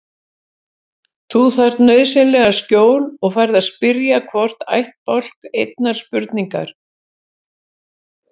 Þú þarft nauðsynlega skjól og færð að spyrja hvorn ættbálk einnar spurningar.